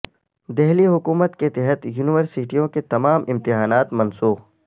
دہلی حکومت کے تحت یونیورسٹیوں کے تمام امتحانات منسوخ